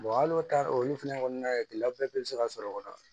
hali o ta olu fɛnɛ kɔnɔna la gɛlɛya bɛɛ be se ka sɔrɔ o la